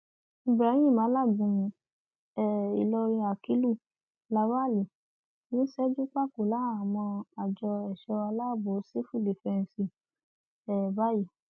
ibrahim alágúnmu um ìlọrin akílù lawalí ti ń ṣẹjú pákó láhàámọ àjọ ẹṣọ aláàbọ sífù dífẹǹsì um báyìí